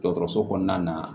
Dɔgɔtɔrɔso kɔnɔna na